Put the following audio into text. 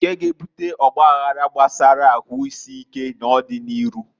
Nkea g'ebuta ọgbaghara gbasara ahuisike n'ọdi n'iru.